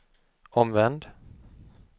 omvänd